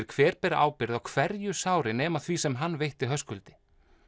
hver beri ábyrgð á hverju sári nema því sem hann veitti Höskuldi